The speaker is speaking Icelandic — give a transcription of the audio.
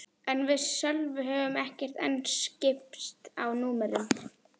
En við Sölvi höfðum ekki enn skipst á númerum.